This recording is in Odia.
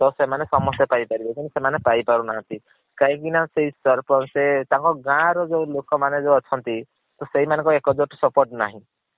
ତ ସେମାନେ ସମସ୍ତେ ପାଇପାରିବେ କିନ୍ତୁ ସେମାନେ ପାଇ ପାରୁ ନାହାନ୍ତି କାହିଁ କି ନା ସେଇ ତାଙ୍କ ଗାଁ ର ଯୋଉ ଲୋକ ମାନେ ଯୋଉ ଅଛନ୍ତି ତ ସେଇ ମାନଙ୍କ ଏକଜୁଟ୍ support ନାହିଁ।